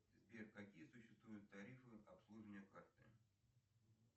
сбер какие существуют тарифы обслуживания карты